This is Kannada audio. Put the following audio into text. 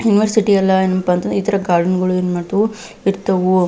ಯೂನಿವರ್ಸಿಟಿ ಎಲ್ಲ ಏನಪ್ಪಾ ಅಂತಂದ್ರ ಇತರ ಗಾರ್ಡೆನ್ಗಳು ಏನ್ ಮಾಡ್ತವು ಇರ್ತವು.